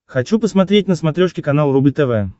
хочу посмотреть на смотрешке канал рубль тв